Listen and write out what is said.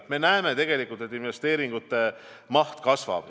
Me näeme tegelikult, et investeeringute maht kasvab.